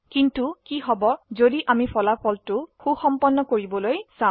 কিন্তু তেতিয়া কি যদি আমাৰ ফলাফল সুসম্পন্ন কৰিবলৈ চাও